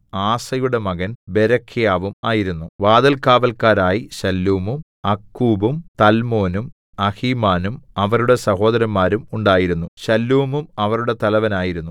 ആസയുടെ മകൻ ബെരെഖ്യാവും ആയിരുന്നു വാതിൽകാവല്ക്കാരായി ശല്ലൂമും അക്കൂബും തൽമോനും അഹീമാനും അവരുടെ സഹോദരന്മാരും ഉണ്ടായിരുന്നു ശല്ലൂമും അവരുടെ തലവനായിരുന്നു